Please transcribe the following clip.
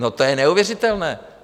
No, to je neuvěřitelné.